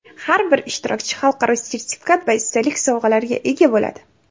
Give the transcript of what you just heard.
har bir ishtirokchi xalqaro sertifikat va esdalik sovg‘alarga ega bo‘ladi.